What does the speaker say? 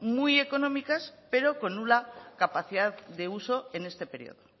muy económicas pero con nula capacidad de uso en este periodo